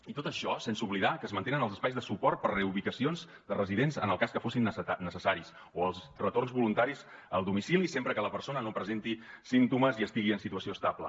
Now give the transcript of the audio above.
i tot això sense oblidar que es mantenen els espais de suport per reubicacions de residents en el cas que fossin necessaris o els retorns voluntaris al domicili sempre que la persona no presenti símptomes i estigui en situació estable